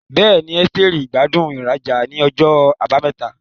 Bẹ́ẹ̀ni, Esteri gbádùn ìrajà ní ọjọ́ Àbámẹ́ta.